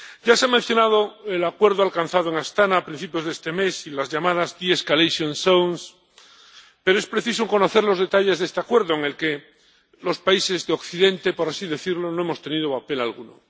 Ya se han mencionado el acuerdo alcanzado en Astaná a principios de este mes y las llamadas pero es preciso conocer los detalles de este acuerdo, en el que los países de Occidente, por así decirlo, no hemos tenido papel alguno.